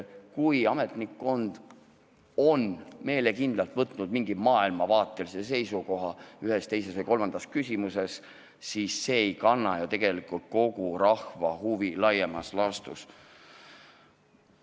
Kui ametnikkond on meelekindlalt võtnud maailmavaatelise seisukoha ühes, teises või kolmandas küsimuses, siis see ei kanna ju tegelikult kogu rahva huve laiemas laastus.